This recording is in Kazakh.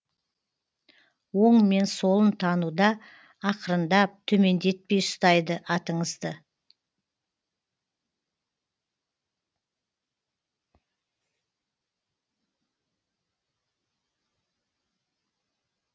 оң мен солын тануда ақырындап төмендетпей ұстайды атыңызды